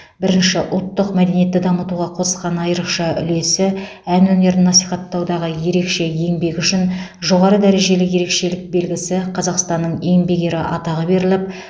бірінші ұлттық мәдениетті дамытуға қосқан айрықша үлесі ән өнерін насихаттаудағы ерекше еңбегі үшін жоғары дәрежелі ерекшелік белгісі қазақстанның еңбек ері атағы берілі